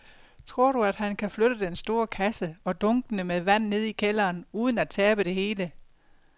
Tror du, at han kan flytte den store kasse og dunkene med vand ned i kælderen uden at tabe det hele?